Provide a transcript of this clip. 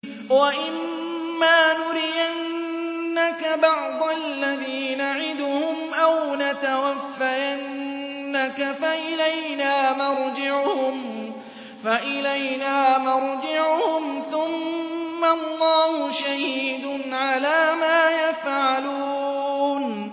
وَإِمَّا نُرِيَنَّكَ بَعْضَ الَّذِي نَعِدُهُمْ أَوْ نَتَوَفَّيَنَّكَ فَإِلَيْنَا مَرْجِعُهُمْ ثُمَّ اللَّهُ شَهِيدٌ عَلَىٰ مَا يَفْعَلُونَ